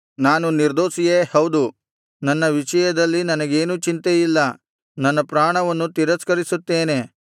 ನಾನು ನಿರ್ದೋಷಿಯೇ ಹೌದು ನನ್ನ ವಿಷಯದಲ್ಲಿ ನನಗೇನೂ ಚಿಂತೆಯಿಲ್ಲ ನನ್ನ ಪ್ರಾಣವನ್ನು ತಿರಸ್ಕರಿಸುತ್ತೇನೆ